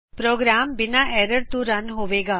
programme ਬਿਨਾ error ਤੋ run ਹੋਵੇਗਾ